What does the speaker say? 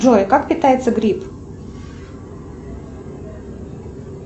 джой как питается гриб